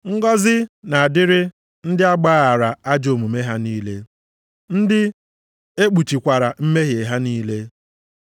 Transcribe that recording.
“Ngọzị na-adịrị ndị a gbaghaara ajọ omume ha niile, ndị ekpuchikwara mmehie ha niile.